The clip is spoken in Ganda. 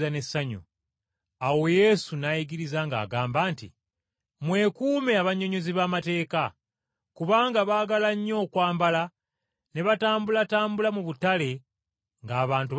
Awo Yesu n’ayigiriza ng’agamba nti, “Mwekuume abannyonnyozi b’amateeka, kubanga baagala nnyo okwambala ne batambulatambula mu butale ng’abantu babalamusa.